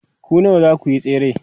ku nawa zakuyi tsere?